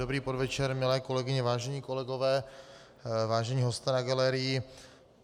Dobrý podvečer, milé kolegyně, vážení kolegové, vážení hosté na galerii.